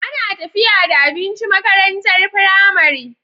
Ana tafiya da abinci makarantar pramari